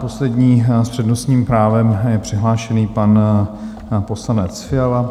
Poslední s přednostním právem je přihlášený pan poslanec Fiala.